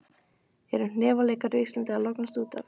Eru hnefaleikar á Íslandi að lognast út af?